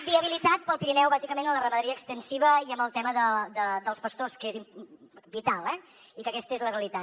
viabilitat per al pirineu bàsicament en la ramaderia extensiva i en el tema dels pastors que és vital eh i aquesta és la realitat